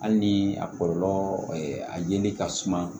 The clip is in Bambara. Hali ni a kɔlɔlɔ a yeli ka suma